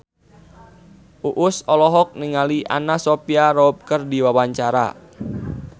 Uus olohok ningali Anna Sophia Robb keur diwawancara